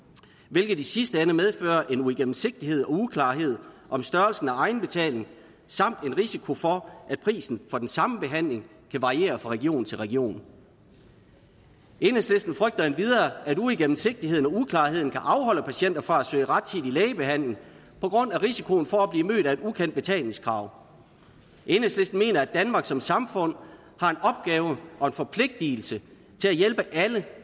hvilket i sidste ende medfører en uigennemsigtighed og uklarhed om størrelsen af egenbetalingen samt en risiko for at prisen for den samme behandling kan variere fra region til region enhedslisten frygter endvidere at uigennemsigtigheden og uklarheden kan afholde patienter fra at søge rettidig lægebehandling på grund af risikoen for at blive mødt af et ukendt betalingskrav enhedslisten mener at danmark som samfund har en opgave og en forpligtigelse til at hjælpe alle